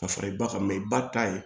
Ka fara i ba kan mɛ i ba ta ye